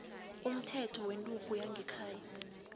umthetho wenturhu yangekhaya